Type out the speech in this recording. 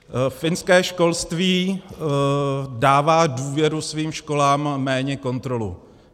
Finské školství dává důvěru svým školám, méně kontrolu.